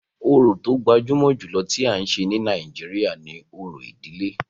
Orò tó gbajúmọ̀ jùlọ tí à ń ṣe ní Nàìjíríà ni òrò ìdílé.